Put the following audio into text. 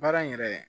Baara in yɛrɛ